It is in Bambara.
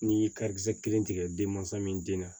N'i ye karikisɛ kelen tigɛ denmansa min den na